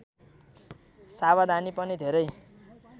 सावधानी पनि धेरै